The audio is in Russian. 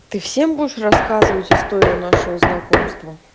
ты всем будешь рассказывать историю нашего знакомства